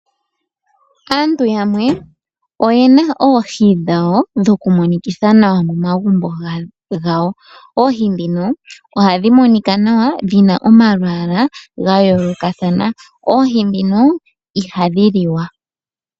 Aantu yamwe oyena oohi dhawo dhoku monikitha nawa momagumbo gawo oohi ndhino ohadhi monika nawa, dhina omalwaala ga yoolokathana. Oohi ndhino ihadhi liwa.